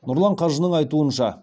нұрлан қажының айтуынша